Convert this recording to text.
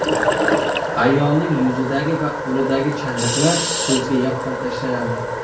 Ayolning yuzidagi va qo‘lidagi chandiqlar ko‘zga yaqqol tashlanadi.